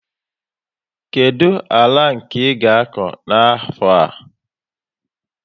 Kedu àlà nke i ga akọ n' afo a?